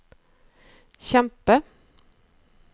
kjempe